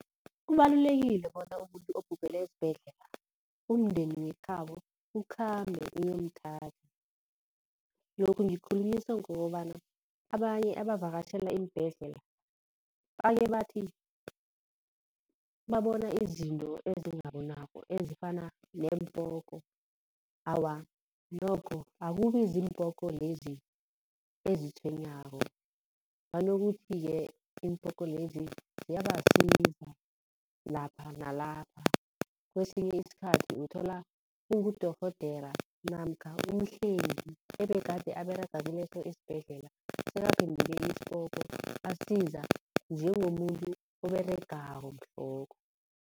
Kubalulekile bona umuntu obhubhele esibhedlela, umndeni wekhabo ukhambe uyomthatha. Lokhu ngikukhulunyiswa ngokobana abanye abavakatjhela iimbedlela baye bathi, babona izinto ezingabonwako ezifana neempoko. Awa, nokho akubi ziImpoko lezi ezitshwenyako banokuthi-ke iimpoko lezi ziyabasiza lapha nalapha. Kwesinye isikhathi uthola kungudorhodera namkha umhlengi ebegade aberega kuleso isibhedlela sekaphenduke ispoko asiza njengomuntu oberegako mhlokho.